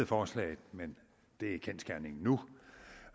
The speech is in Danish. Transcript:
forslaget men det er kendsgerningen nu